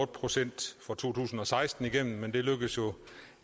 procent for to tusind og seksten igennem men det lykkedes